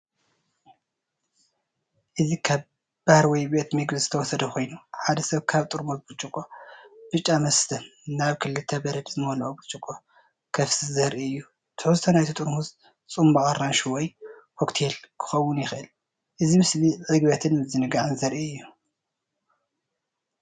እዚ ካብ ባር ወይ ቤት መግቢ ዝተወሰደ ኮይኑ፡ሓደ ሰብ ካብ ጥርሙዝ ብርጭቆ ብጫ መስተ ናብ ክልተ በረድ ዝመልአ ብርጭቆ ከፍስስ ዘርኢ እዩ። ትሕዝቶ ናይቲ ጥርሙዝ ጽማቝ ኣራንሺ ወይ ኮክቴል ክኸውን ይኽእል። እዚ ምስሊ ዕግበትን ምዝንጋዕን ዘርኢ እዩ።